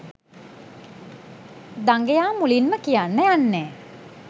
දඟයා මුලින්ම කියන්න යන්නේ